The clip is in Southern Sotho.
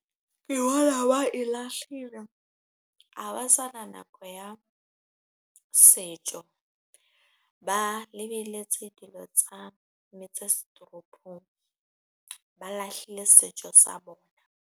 Ke bona ba e lahlile, ha ba sana nako ya setjo ba lebelletse dilo tsa , ba lahlile setjo sa bona.